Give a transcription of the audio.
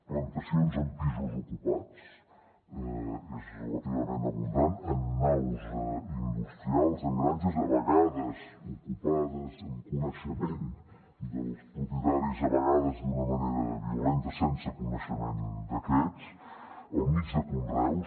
plantacions en pisos ocupats són relativament abundants en naus industrials en granges de vegades ocupades amb coneixement dels propietaris a vegades d’una manera violenta sense coneixement d’aquests al mig de conreus